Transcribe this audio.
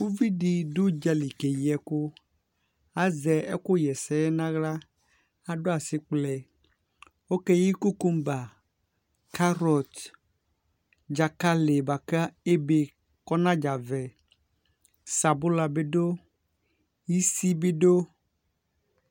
Uvi dɩ dʋ ʋdza li keyi ɛkʋ Azɛ ɛkʋɣa ɛsɛ yɛ nʋ aɣla Adʋ asɩkplɛ Ɔkeyi kokomba, karɔt, dzakalɩ bʋa kʋ ebe kʋ ɔnadzavɛ, sabʋla bɩ dʋ, isi bɩ dʋ